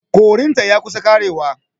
Korin ta ya kusa ƙarewa.